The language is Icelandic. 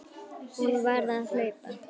Hún varð að hlaupa.